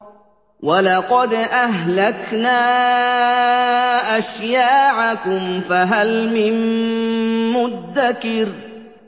وَلَقَدْ أَهْلَكْنَا أَشْيَاعَكُمْ فَهَلْ مِن مُّدَّكِرٍ